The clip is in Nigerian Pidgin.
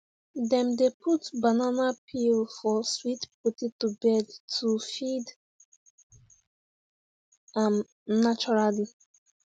dem dey put banana peel for sweet potato bed to feed am naturally